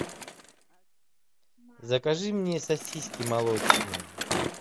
закажи мне сосиски молочные